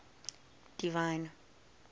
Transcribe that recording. divine